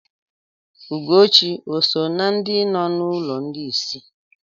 Ugochi òsò na ndị nọ n'ụlọ ndị isi?